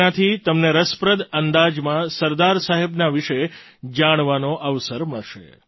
તેનાથી તમને રસપ્રદ અંદાજમાં સરદાર સાહેબના વિશે જાણવાનો અવસર મળશે